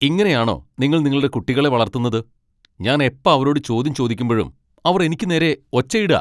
ഇങ്ങനെയാണോ നിങ്ങൾ നിങ്ങളുടെ കുട്ടികളെ വളർത്തുന്നത്? ഞാൻ എപ്പ അവരോട് ചോദ്യം ചോദിക്കുമ്പഴും അവർ എനിക്ക് നേരെ ഒച്ചയിടാ .